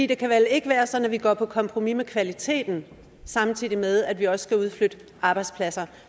det kan vel ikke være sådan at vi går på kompromis med kvaliteten samtidig med at vi også skal udflytte arbejdspladser